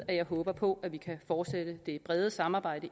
at jeg håber på at vi kan fortsætte det brede samarbejde